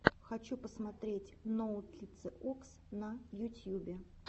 хочу посмотреть ноутлициокс на ютьюбе